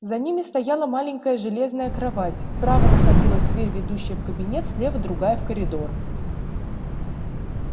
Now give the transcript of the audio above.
за ними стояла маленькая железная кровать справа находилась дверь ведущая в кабинет слева другая в коридор